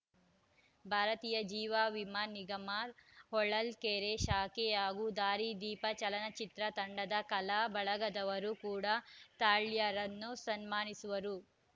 ಭಾರತೀಯ ಜೀವಾ ವಿಮಾ ನಿಗಮ ಹೊಳಲ್ಕೆರೆ ಶಾಖೆ ಹಾಗೂ ದಾರಿ ದೀಪ ಚಲನಚಿತ್ರ ತಂಡದ ಕಲಾ ಬಳಗದವರು ಕೂಡಾ ತಾಳ್ಯರನ್ನು ಸನ್ಮಾನಿಸುವರು